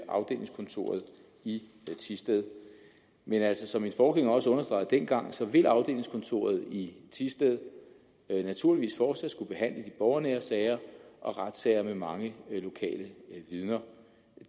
afdelingskontoret i thisted men altså som min forgænger også understregede dengang så vil afdelingskontoret i thisted naturligvis fortsat skulle behandle de borgernære sager og retssager med mange lokale vidner